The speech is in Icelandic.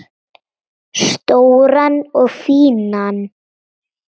Stóran og fínan.